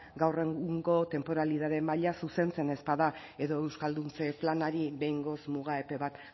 gaur egungo tenporalidade maila zuzentzen ez bada edo euskalduntze planari behingoz muga epe bat